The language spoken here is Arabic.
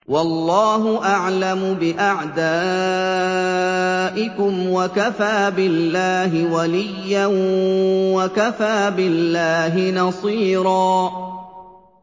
وَاللَّهُ أَعْلَمُ بِأَعْدَائِكُمْ ۚ وَكَفَىٰ بِاللَّهِ وَلِيًّا وَكَفَىٰ بِاللَّهِ نَصِيرًا